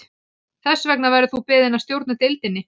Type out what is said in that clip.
Þess vegna verður þú beðinn að stjórna deildinni